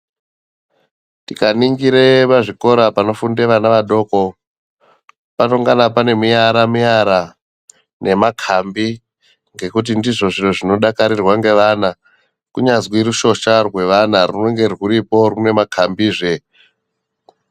Tikaningire pazvikora panofunde vana vadoko panongana pane miara miara nemakhambi ngekuti ndizvo zviro zvinodakarirwa ngevana kunyazwi rushosha rwevana rune ruripo rune makambizve